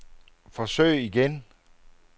forsøg igen